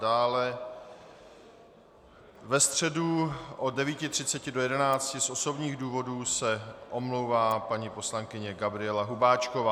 Dále ve středu od 9.30 do 11 z osobních důvodů se omlouvá paní poslankyně Gabriela Hubáčková.